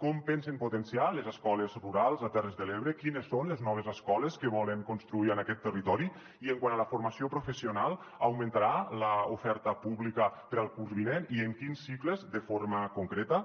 com pensen potenciar les escoles rurals a terres de l’ebre quines són les noves escoles que volen construir en aquest territori i quant a la formació professional augmentarà l’oferta pública per al curs vinent i en quins cicles de forma concreta